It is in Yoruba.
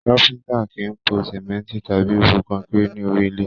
Káfíntà kìí pò sánmọ́ntì tàbí rú kọnkéré ní orí ilẹ.